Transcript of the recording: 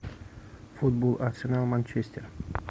футбол арсенал манчестер